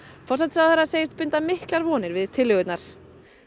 forsætisráðherra segist binda miklar vonir við tillögurnar